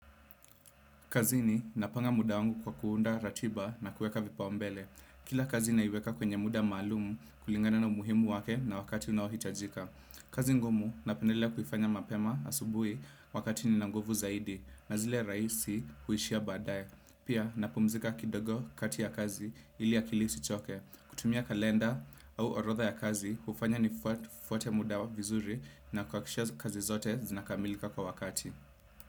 Kazini napanga muda wangu kwa kuunda ratiba na kuweka vipaumbele. Kila kazi naiweka kwenye muda maalum kulingana na umuhimu wake na wakati unaohitajika. Kazi ngumu napendelea kuifanya mapema asubuhi wakati nina nguvu zaidi. Na zile rahisi huishia baadaye. Pia napumzika kidogo kati ya kazi ili akili isichoke. Kutumia kalenda au orodha ya kazi hufanya nifuate muda vizuri na kuhakikisha kazi zote zinakamilika kwa wakati.